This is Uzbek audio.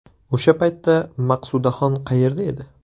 O‘sha paytda Maqsudaxon qayerda edi?